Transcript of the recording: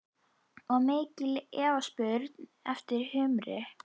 Og mikil eftirspurn eftir humri?